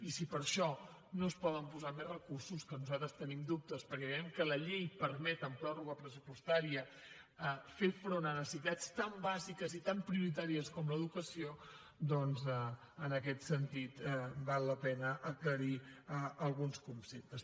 i si per això no es poden posar més recursos que nosaltres en tenim dubtes perquè creiem que la llei permet en pròrroga pressupostària fer front a necessitats tan bàsiques i tan prioritàries com l’educació doncs en aquest sentit val la pena aclarir alguns conceptes